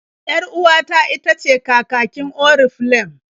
Yar-uwata itace kakakin Oriflem.